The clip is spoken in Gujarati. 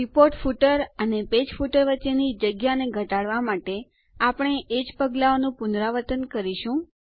રિપોર્ટ ફૂટર અને પેજ ફૂટર વચ્ચેની જગ્યાને ઘટાડવાં માટે આપણે એ જ પગલાંઓનું પુનરાવર્તન કરીશું